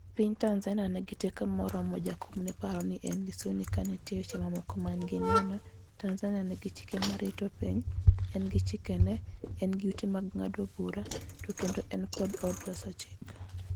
piny Tanzania nigi teko ma oromo Jakom ne opare ne Lissu ni kanitie weche ma mamoko manigi neno, Tanzania nigi chike ma rito piny, en gi chike ne, en gi ute ng'ado bura to kendo en gi od loso chik